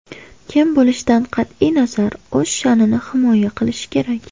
Kim bo‘lishidan qat’iy nazar, o‘z sha’nini himoya qilish kerak.